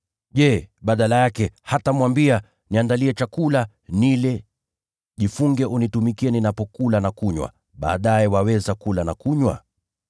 Je, badala yake, hatamwambia, ‘Niandalie chakula, nile, jifunge unitumikie ninapokula na kunywa; baadaye waweza kula na kunywa?’